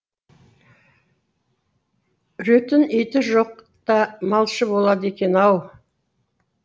үретін иті жоқ та малшы болады екен ау